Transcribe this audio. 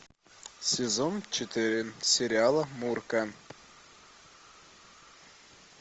сезон четыре сериала мурка